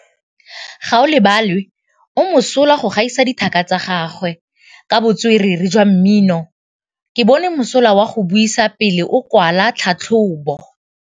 Gaolebalwe o mosola go gaisa dithaka tsa gagwe ka botswerere jwa mmino. Ke bone mosola wa go buisa pele o kwala tlhatlhobô.